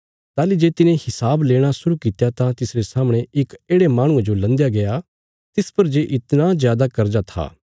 ताहली जे तिने हिसाब लेणा शुरु कित्या तां तिसरे सामणे इक येढ़े माहणुये जो लन्दया गया तिस पर जे इतणा जादा कर्जा था